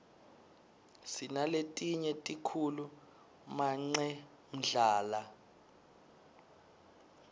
sinaletinye tikhulu manqemdlala